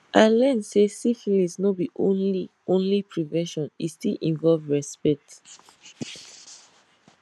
i learn say syphilis no be only only prevention e still involve respect